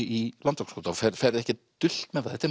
í Landakotsskóla og ferð ekkert dult með það þetta